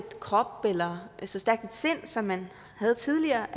krop eller så stærkt et sind som man havde tidligere